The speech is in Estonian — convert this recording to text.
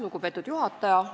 Lugupeetud juhataja!